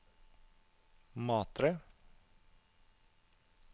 Matre